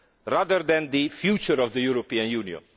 rather than the future of the European Union.